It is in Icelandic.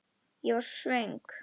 Ég er svo svöng.